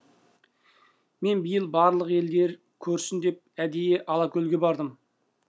мен биыл барлық елдер көрсін деп әдейі алакөлге бардым